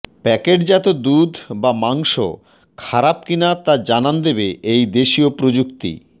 প্যাকেটজাত দুধ বা মাংস খারাপ কিনা তা জানান দেবে এই দেশীয় প্রযুক্তি